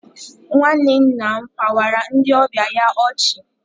Nwanne nna m kpawara ndị ọbịa ya ọchị